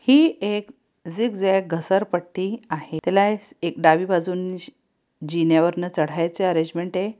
ही एक झिगझ्याग घसर पट्टी आहे तिला एक डावी बाजूने जिन्या वरन चढायचं अरेंजमेंट आहे.